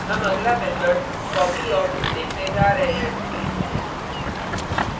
हम अगला method copyof देखने जा रहे हैं